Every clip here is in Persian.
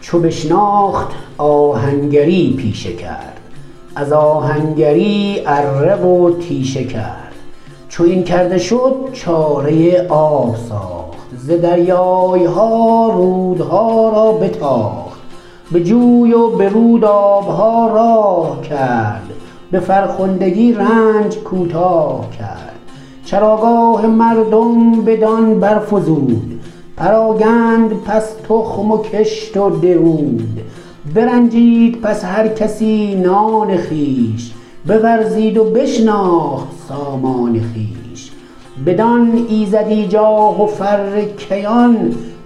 چو بشناخت آهنگری پیشه کرد از آهنگری اره و تیشه کرد چو این کرده شد چاره آب ساخت ز دریای ها رودها را بتاخت به جوی و به رود آب ها راه کرد به فرخندگی رنج کوتاه کرد چراگاه مردم بدان برفزود پراگند پس تخم و کشت و درود برنجید پس هر کسی نان خویش بورزید و بشناخت سامان خویش بدان ایزدی جاه و فر کیان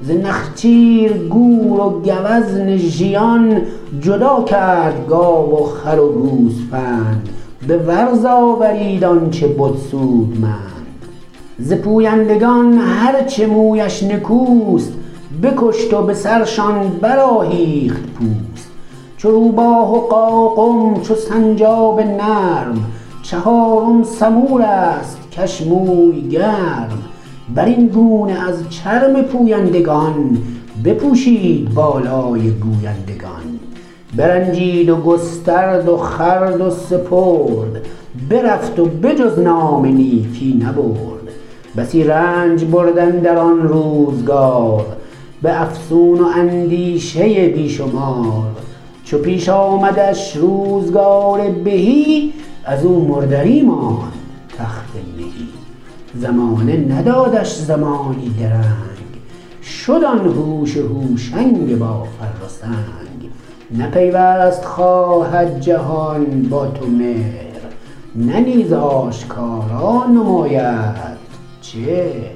ز نخچیر گور و گوزن ژیان جدا کرد گاو و خر و گوسفند به ورز آورید آن چه بد سودمند ز پویندگان هر چه مویش نکوست بکشت و به سرشان برآهیخت پوست چو روباه و قاقم چو سنجاب نرم چهارم سمور است کش موی گرم بر این گونه از چرم پویندگان بپوشید بالای گویندگان برنجید و گسترد و خورد و سپرد برفت و به جز نام نیکی نبرد بسی رنج برد اندر آن روزگار به افسون و اندیشه بی شمار چو پیش آمدش روزگار بهی از او مردری ماند تخت مهی زمانه ندادش زمانی درنگ شد آن هوش هوشنگ با فر و سنگ نه پیوست خواهد جهان با تو مهر نه نیز آشکارا نمایدت چهر